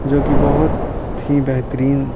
जो कि बहुत ही बेहतरीन।